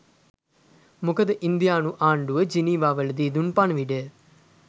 මොකද ඉන්දියානු ආණ්ඩුව ජිනීවාවලදී දුන් පණිවිඩය